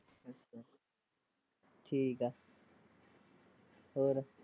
ਠੀਕ ਆ ਹੋਰ।